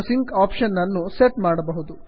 ನೀವಿಲ್ಲಿ ನಿಮ್ಮ sync option ನನ್ನು ಸೆಟ್ ಮಾಡಬಹುದು